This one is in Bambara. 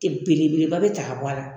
Ten bele beleba be ta ka bɔ a la.